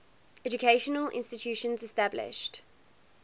educational institutions established